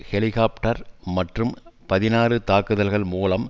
helicopter மற்றும் பதினாறு தாக்குதல்கள் மூலம்